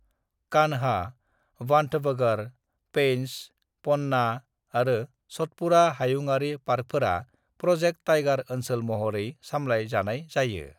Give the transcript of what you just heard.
"कान्हा, बांधवगढ़, पेंच, पन्ना आरो सतपुड़ा हायुङारि पार्कफोरा प्र'जेक्ट टाइगार ओनसोल महरै सामलाय जानाय जायो।"